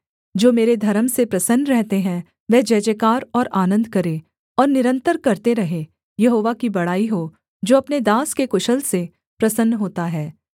जो मेरे धर्म से प्रसन्न रहते हैं वे जयजयकार और आनन्द करें और निरन्तर करते रहें यहोवा की बड़ाई हो जो अपने दास के कुशल से प्रसन्न होता है